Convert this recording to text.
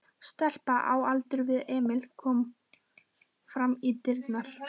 Stelpa á aldur við Emil kom fram í dyrnar.